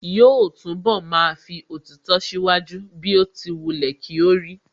Yóò túnbọ̀ máa fi òtítọ́ ṣíwájú bí ó ti wulẹ̀ kí ó rí